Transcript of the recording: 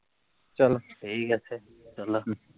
চলো ঠিক আছে চলো হম